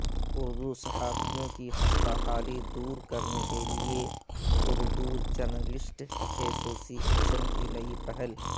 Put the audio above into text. اردو صحافیوں کی خستہ حالی دور کرنے کیلئے اردو جرنلسٹ ایسوسی ایشن کی نئی پہل